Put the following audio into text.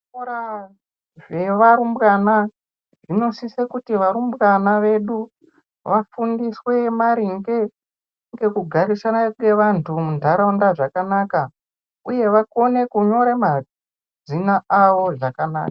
Zvikora zvevarimbesna zvinosisa kuti varumbwana vedu vafundiswe maringe ngekugara kwevantu munharaunda zvakanaka uye vakone kunyora mazina avo zvakanaka